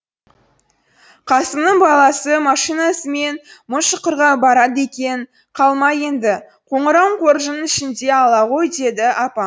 қасымның баласы машинасымен мыңшұқырға барады екен қалма енді қоңырауың қоржынның ішінде ала ғой деді апам